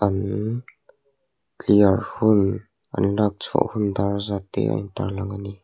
an clear hun an lakchhuah hun dar zat te a intar lang ani.